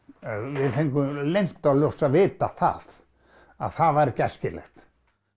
við fengum leynt og ljóst að vita það að það væri ekki æskilegt